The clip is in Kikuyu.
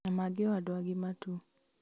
na mangĩ o andũ agima tu